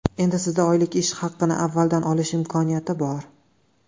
Endi Sizda oylik ish haqini avvaldan olish imkoniyati bor.